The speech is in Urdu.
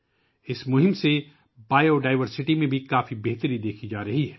اس مہم کی وجہ سے حیاتیاتی تنوع میں بھی کافی بہتری دیکھی جا رہی ہے